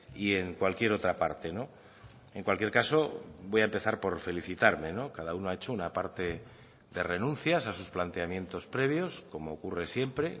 y en cualquier otra parte en cualquier caso voy a empezar por felicitarme cada uno ha hecho una parte de renuncias a sus planteamientos previos como ocurre siempre